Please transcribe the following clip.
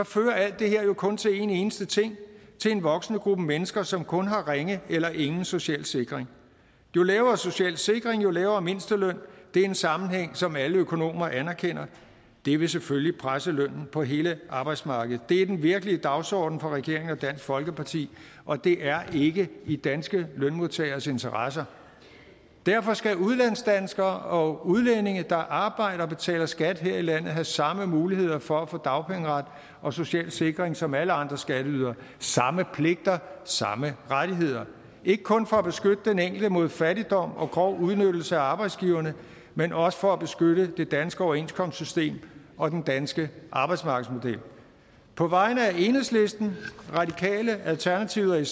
fører alt det her jo kun til en eneste ting til en voksende gruppe mennesker som kun har ringe eller ingen social sikring jo lavere social sikring jo lavere mindsteløn det er en sammenhæng som alle økonomer anerkender og det vil selvfølgelig presse lønnen på hele arbejdsmarkedet det er den virkelige dagsorden for regeringen og dansk folkeparti og det er ikke i danske lønmodtageres interesse derfor skal udlandsdanskere og udlændinge der arbejder og betaler skat her i landet have samme muligheder for at få dagpengeret og social sikring som alle andre skatteydere samme pligter samme rettigheder ikke kun for at beskytte den enkelte mod fattigdom og grov udnyttelse af arbejdsgiverne men også for at beskytte det danske overenskomstsystem og den danske arbejdsmarkedsmodel på vegne af enhedslisten radikale alternativet